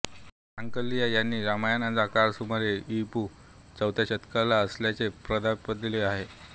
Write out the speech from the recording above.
सांकलिया यांनी रामायणाचा काळ सुमारे इ पू चौथ्या शतकातला असल्याचे प्रतिपादले आहे